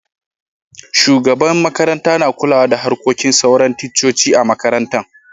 Shugaban makaranta na kulawa da harkokin sauran ticcoci a'makarantan.